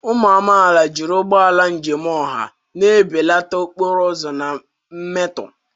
Ụmụ amaala, jiri ụgbọ njem ọha na-ebelata okporo ụzọ na mmetọ.